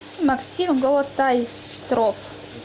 максим голотайстров